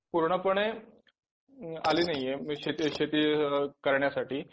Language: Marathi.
पूर्णपणे अ आलीनाहीये शेती शेती कारण्यासाठी